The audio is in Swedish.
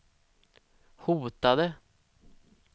hotade